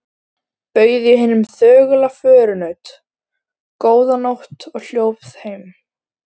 Bauð ég hinum þögula förunaut: Góða nótt og hljóp heim.